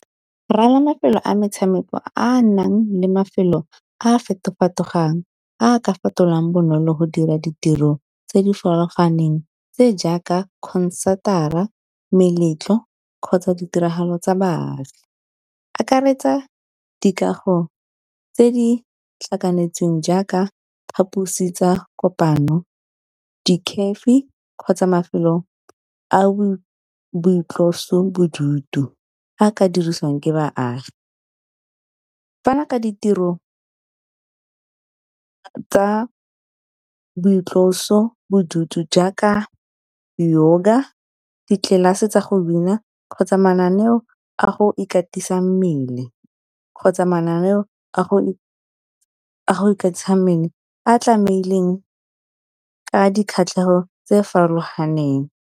Mafelo a metshameko a a nang le mafelo a feto-fetogang a ka fetoloang bonolo go dira ditiro tse di farologaneng tse jaaka ka concert-ara, meletlo kgotsa ditiragalo tsa baagi. Akaretsa dikago tse di tlhakanetsweng jaaka phaposi tsa kopano, kgotsa mafelo a boitlosobodutu a ka dirisiwang ke baagi. Fana ka ditiro tsa boitlosobodutu jaaka yoga, di-class-e tsa go bina kgotsa mananeo a go ikatisa mmele, a tlamehileng ka dikgatlhego tse farologaneng.